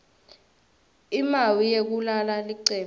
imawi yekulala licembu